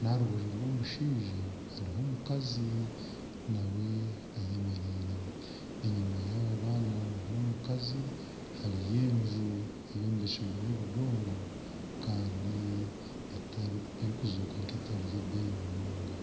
n'aha rubaju rw'omushaija hariho omukazi naawe ayemereire enyuma yaaba baana n'omukazi hariyo enju eyombekirwe n'obudongo kandi erikuzooka nka etari yebeeyi munonga.